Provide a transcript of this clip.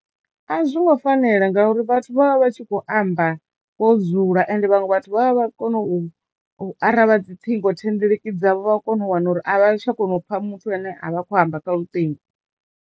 A zwongo fanela ngauri vhathu vha vha vha tshi kho amba vho dzula ende vhaṅwe vhathu vha vha vha kono u u arali vha dzi ṱhingo thendeleki dzavho vha a kono u wana uri a vha tsha kona u pfa muthu ane a vha khou amba kha lutingo.